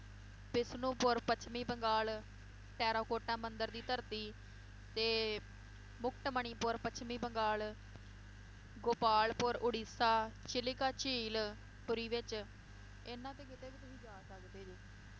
ਵਿਸ਼ਨੂਪੁਰ ਪੱਛਮੀ ਬੰਗਾਲ, ਟੈਰਾਕੋਟਾ ਮੰਦਿਰ ਦੀ ਧਰਤੀ, ਤੇ ਮੁਕਟਮਣੀਪੁਰ ਪੱਛਮੀ ਬੰਗਾਲ ਗੋਪਾਲਪੁਰ ਉੜੀਸਾ, ਸ਼ਿਲਿਕਾ ਝੀਲ, ਪੁਰੀ ਵਿਚ, ਇਹਨਾਂ ਤੇ ਕਿਤੇ ਵੀ ਤੁਸੀਂ ਜਾ ਸਕਦੇ ਜੇ